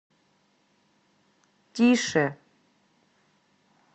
тише